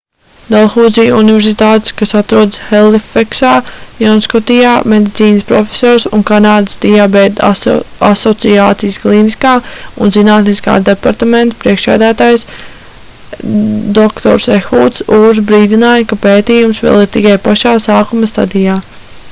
dalhuzī universitātes kas atrodas helifeksā jaunskotijā medicīnas profesors un kanādas diabēta asociācijas klīniskā un zinātniskā departamenta priekšsēdētājs dr ehuds ūrs brīdināja ka pētījums vēl ir tikai pašā sākuma stadijā